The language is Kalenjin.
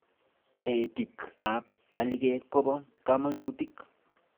Taretik ab alikek koba kamanutik